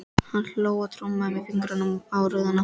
Hann hló og trommaði með fingrunum á rúðuna.